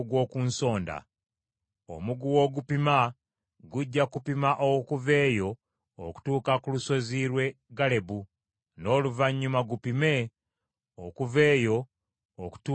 Omuguwa ogupima gujja kupima okuva eyo okutuuka ku lusozi lw’e Galebu n’oluvannyuma gupime okuva eyo okutuuka e Gowa.